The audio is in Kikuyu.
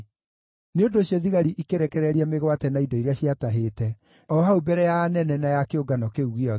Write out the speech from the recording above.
Nĩ ũndũ ũcio thigari ikĩrekereria mĩgwate na indo iria ciatahĩte, o hau mbere ya anene na ya kĩũngano kĩu gĩothe.